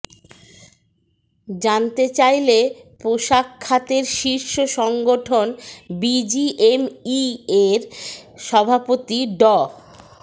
জানতে চাইলে পোশাক খাতের শীর্ষ সংগঠন বিজিএমইএর সভাপতি ড